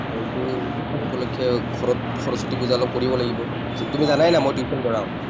এইটো উপলক্ষে ঘৰত সৰস্বতী পূজা অলপ কৰিব লাগিব। তুমি জানাই ন মই tuition পঢ়াওঁ।